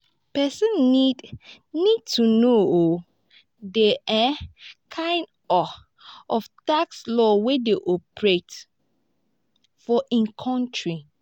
person need need to know um di um kind um of tax laws wey dey operate for im country